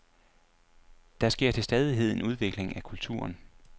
Der sker til stadighed en udvikling af kulturen.